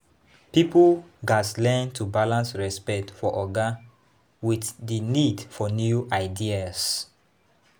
Pipo gatz learn to balance respect for oga with di need for new ideas.